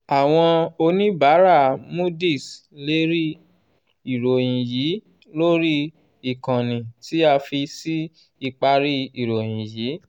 àwọn oníbàárà moody's lè rí ìròyìn yìí lórí ìkànnì tí a fi sí ìparí ìròyìn yìí.